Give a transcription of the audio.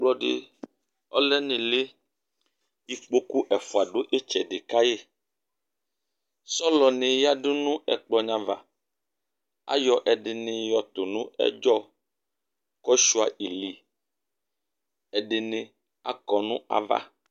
Ɛkplɔdi ɔlɛnʋ ɩlɩ Ikpoku ɛfʋa adu ɩtsɛdɩ kayɩ Sɔlɔni yǝdu nʋ ɛkplɔ wani ava Ayɔ ɛdɩnɩ yɔtʋ nʋ ɛdzɔ, kʋ ashʋa ili, ɛdɩnɩ akɔ nʋ ava